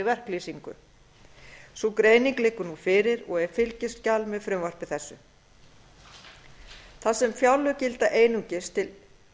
verklýsingu sú greining liggur nú fyrir og er fylgiskjal með frumvarpi þessu þar sem fjárlög gilda einungis til